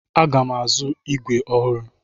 Aga m azụ ígwè ọhụrụ.